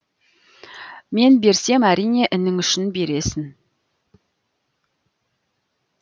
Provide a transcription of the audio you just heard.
мен берсем әрине інің үшін бересің